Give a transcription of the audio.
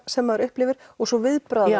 sem maður upplifir og svo viðbragðanna